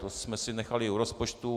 To jsme si nechali u rozpočtu.